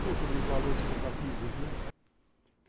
Dentro dos valores compatíveis, né?